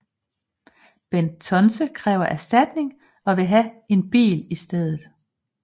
Bent Tonse kræver erstatning og vil have en bil i stedet